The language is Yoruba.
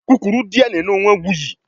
Kukuru diẹ ninu awọn wuyi